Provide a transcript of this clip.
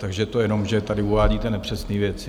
Takže to jenom že tady uvádíte nepřesné věci.